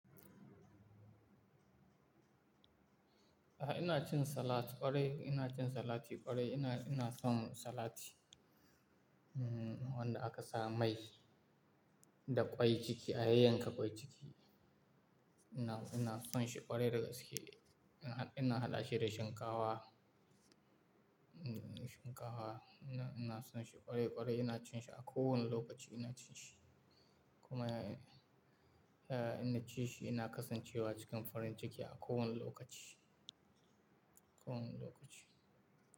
A'a ina cin salat ƙwarai, ina cin salati ƙwarai. Ina, ina son salati, hmm wanda aka sa mai da ƙwai ciki, a yayyanka ƙwai ciki. Ina, ina son shi ƙwarai da gasake. Ina, ina haɗa shi da shinkawa, hmm shinkawa. Ina, ina son shi ƙwarai ƙwarai ina cin shi a kowane lokaci ina cin shi. Kuma, eh inba ci shi ina kasancewa cikin farin ciki a kowane lokaci, kowane lokaci.